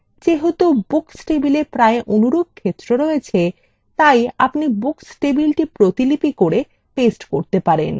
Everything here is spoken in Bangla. যেহেতু books table প্রায় অনুরূপ ক্ষেত্র রয়েছে তাই আপনি books টেবিলটি প্রতিলিপি করে paste করতে পারেন